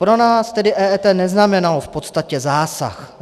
Pro nás tedy EET neznamenalo v podstatě zásah.